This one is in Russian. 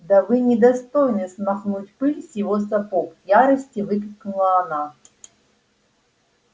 да вы не достойны смахнуть пыль с его сапог в ярости выкрикнула она